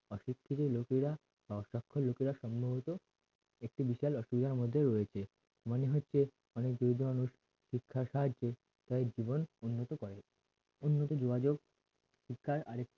শিক্ষিত লোকেরা লোকেরা সম্ভবত একটি বিশাল রয়েছে মানে হচ্ছে অনেক যৌধ মানুষ শিক্ষার সাহায্যে তাদের জীবন উন্নত করে উন্নতি যোগাযোগ শিক্ষার আরেকটা